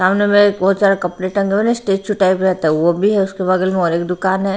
सामने में बहुत सारा कपड़े टंगे हो और स्टैचू टाइप रहता है वो भी है उसके बगल में और एक दुकान है।